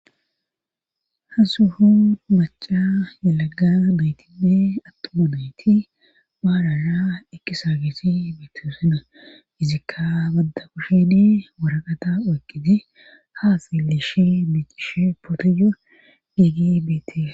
Hasuhu maca yalaga bayti pe attuma bayti paarara ekkisa gesi bitosana izikka badda kushedi waraqata oyqqiti haa siliishi biicishe pootoyo geggi biite.